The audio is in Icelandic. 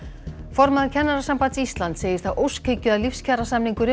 formaður Kennarasambands Íslands segir það óskhyggju að